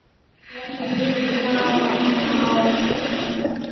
Þú varst mjög næm.